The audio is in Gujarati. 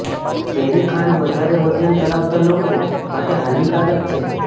ઝેરી ખાંડ વધારે વજન ધરાવતા લોકો માટે હાનિકારક છે